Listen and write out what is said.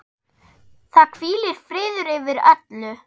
Það hvílir friður yfir öllu.